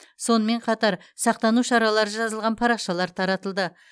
сонымен қатар сақтану шаралары жазылған парақшалар таратылды